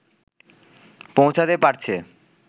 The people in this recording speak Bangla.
পৌঁছাতে পারছে